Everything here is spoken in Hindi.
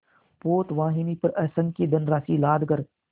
पोतवाहिनी पर असंख्य धनराशि लादकर